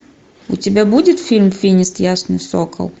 у тебя будет фильм финист ясный сокол